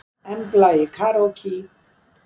Embla í karókí